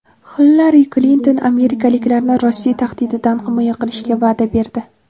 Xillari Klinton amerikaliklarni Rossiya tahdididan himoya qilishga va’da berdi.